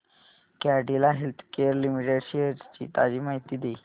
Cadila healthcare limited shares ची ताजी माहिती दे